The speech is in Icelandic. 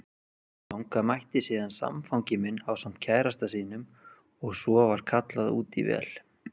Þangað mætti síðan samfangi minn ásamt kærasta sínum og svo var kallað út í vél.